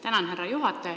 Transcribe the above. Tänan, härra juhataja!